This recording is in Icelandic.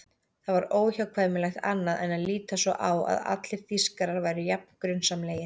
Það var óhjákvæmilegt annað en að líta svo á að allir Þýskarar væru jafn grunsamlegir.